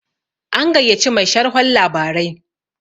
an gaiya ci Mai sharhon labarai